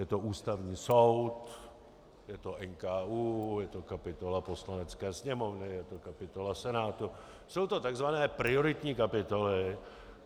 Je to Ústavní soud, je to NKÚ, je to kapitola Poslanecké sněmovny, je to kapitola Senátu, jsou to tzv. prioritní kapitoly.